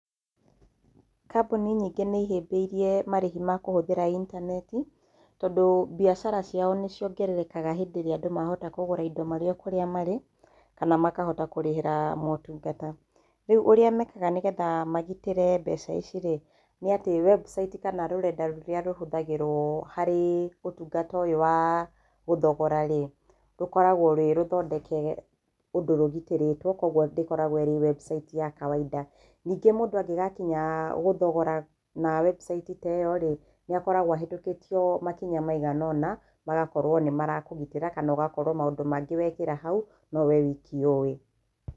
Kambuni nyĩngĩ nĩ ihĩmbĩirie marihi ma kũhũthĩra itaneti, tondũ mbiacara ciao nĩ ciongerekara hĩndĩ ĩria andũ mahota kũgũra indo marĩ o kũrĩa marĩ, kana makahota kũrĩhĩra motungata. Ũrĩa mekaga nĩgetha mahote kũgitĩra mbeca ici-rĩ, nĩ atĩ, wembuciti kana rũrenda rũrĩa rũhũthagĩrwo harĩ ũtungata ũyũ wa gũthogora-rĩ, rũkoragwo rwĩrũthondeke ũndũ rũgitĩrĩtwo, kũoguo ndĩkoragwo ĩrĩ wembuciti ya kawainda. Ningĩ mũndũ angĩgakinya gũthogora na wembuciti ta ĩo-rĩ, nĩ akoragwo ahetũkĩtio makinya maigana ũna magakorwo nĩ marakũnyitĩrĩra kana ũgakorwo maũndũ mangĩ wekĩra hau, no we wiki ũĩ.